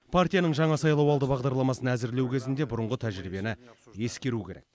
партияның жаңа сайлауалды бағдарламасын әзірлеу кезінде бұрынғы тәжірибені ескеру керек